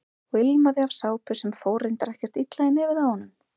Og ilmaði af sápu sem fór reyndar ekkert illa í nefið á honum.